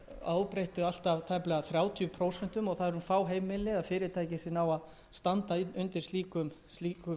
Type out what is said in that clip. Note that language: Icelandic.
næstum þrjátíu prósent það eru fá heimili eða fyrirtæki sem ná að standa undir slíkum vöxtum